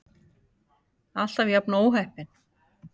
Alltaf jafn óheppin!